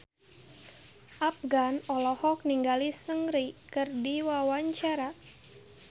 Afgan olohok ningali Seungri keur diwawancara